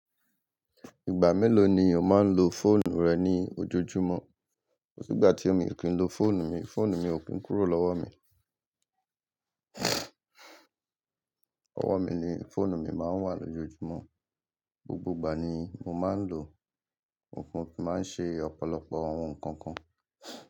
Ìgbà mélòó ni o máa ń lo fóònù rẹ ní ojoojúmọ́? Ó sì gba ti ómi ò kín lo fóònù mi, fóònù mi ò kín kúrò lọ́wọ́ mi. Lọ́wọ́ mi ni fóònù mi máa ń wà lójoojúmọ́. Gbogbo ìgbà ni mo máa ń lòó, óún kí máa ń ṣe ọ̀pọ̀lọpọ̀ àwọn nǹkan kan.